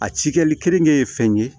A ci kɛli keninke ye fɛn ye